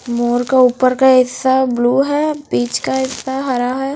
मोर का उपर का हिस्सा ब्लू है बीच का हिस्सा हरा है।